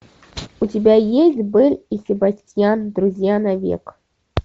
у тебя есть бель и себастьян друзья на век